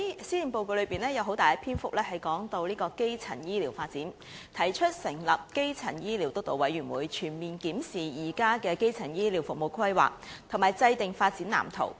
施政報告有很大篇幅談論基層醫療發展，提出成立基層醫療發展督導委員會，全面檢視現時基層醫療服務的規劃，並制訂發展藍圖。